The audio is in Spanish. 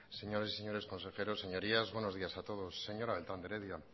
señoras y señores consejeros señorías buenos días a todos señora beltrán de heredia